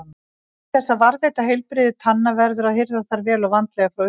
Til þess að varðveita heilbrigði tanna verður að hirða þær vel og vandlega frá upphafi.